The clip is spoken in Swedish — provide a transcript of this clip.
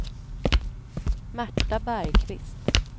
Märta Bergqvist